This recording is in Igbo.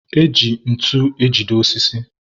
e ji ntu ejide osisi.